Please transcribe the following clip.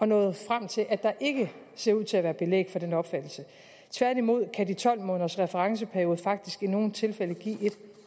nået frem til at der ikke ser ud til at være belæg for den opfattelse tværtimod kan de tolv måneders referenceperiode faktisk i nogle tilfælde give et